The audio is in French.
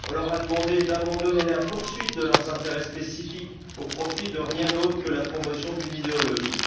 On leur a demandé d'abandonner la poursuite de leurs intérêts spécifiques au profit de rien d'autre que la promotion d'une idéologie.